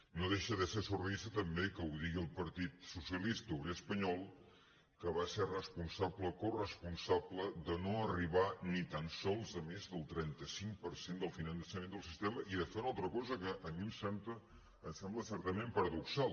no deixa de ser surrealista també que ho digui el partit socialista obrer espanyol que va ser responsable coresponsable de no arribar ni tan sols a més del trenta cinc per cent del finançament del sistema i de fer una altra cosa que a mi em sembla certament paradoxal